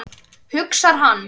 hugsar hann.